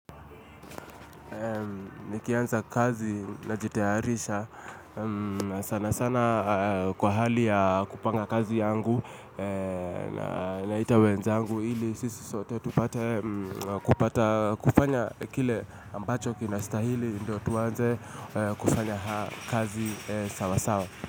Ni kianza kazi na jitayarisha sana sana kwa hali ya kupanga kazi yangu na ita wenzangu ili sisi sote kupata kufanya kile ambacho kinastahili ndo tuanze kufanya haa kazi sawasawa.